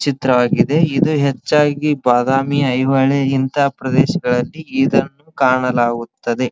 ಚಿತ್ರವಾಗಿದೆ ಇದು ಹೆಚ್ಚಾಗಿ ಬಾದಾಮಿ ಐಹೊಳೆ ಇಂತ ಪ್ರದೇಶಗಳಲ್ಲಿ ಇದನ್ನು ಕಾಣಲಾಗುತ್ತದೆ.